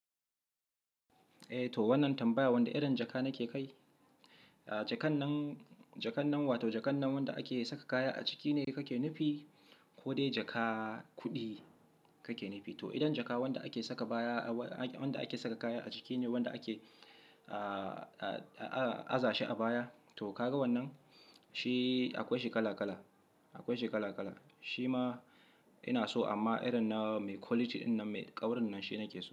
Eh to wannan tambaya wanda irin jaka nake kai? Jakan nan, jakan nan wato jakan nan wanda ake saka kaya a ciki ne kake nufi ko dai jaka kuɗi kake nufi? To idan jaka wanda ake saka baya, wanda ake saka kaya a ciki ne wanda ake, ah, aza shi a baya to ka ga wannan? Shi akwai shi kala kala, akwai shi kala kala. Shi ma ina so amma irin na mai quality ɗin nan mai ƙaurin nan shi nake so.